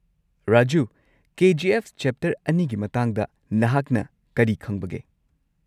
Raju, K. G F chapter ꯲ꯒꯤ ꯃꯇꯥꯡꯗ ꯅꯍꯥꯛꯅ ꯀꯔꯤ ꯈꯪꯕꯒꯦ?